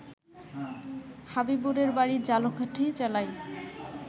হাবিবুরের বাড়ি ঝালকাঠী জেলায়